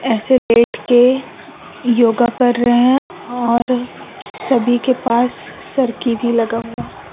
ऐसे लेट के योगा कर रहे हैं और सभी के पास सरकी भी लगा हुआ--